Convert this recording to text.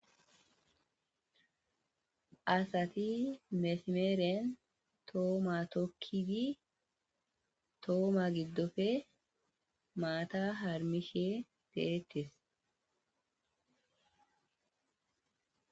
Asati mesimere tumuwa tokidi ha tumo giddope maata harmishe de7etes.